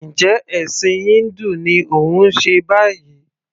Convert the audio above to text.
Njẹ́ ẹ̀ṣìn híńdù ni òun ṣe báyìí?